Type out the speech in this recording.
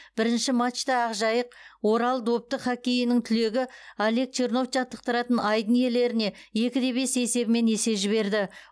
бірінші матчта ақжайық орал допты хоккейінің түлегі олег чернов жаттықтыратын айдын иелеріне екі де бес есебімен есе жіберді